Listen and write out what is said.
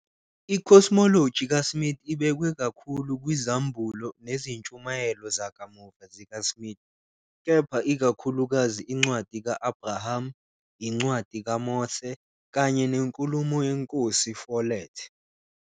I-cosmology kaSmith ibekwe ikakhulu kwizambulo nezintshumayelo zakamuva zikaSmith, kepha ikakhulukazi iNcwadi ka-Abraham, iNcwadi kaMose kanye nenkulumo yeNkosi Follett.